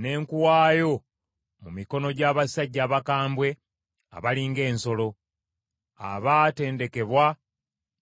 ne nkuwaayo mu mikono gy’abasajja abakambwe abali ng’ensolo, abaatendekebwa mu byo kuzikiriza.